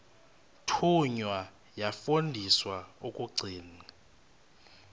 thunywa yafundiswa ukugcina